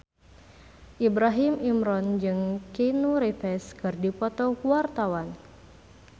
Ibrahim Imran jeung Keanu Reeves keur dipoto ku wartawan